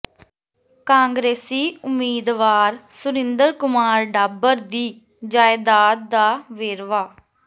ਕਾਂਗਰਸੀ ਉਮੀਦਵਾਰ ਸੁਰਿੰਦਰ ਕੁਮਾਰ ਡਾਬਰ ਦੀ ਜਾਇਦਾਦ ਦਾ ਵੇਰਵਾ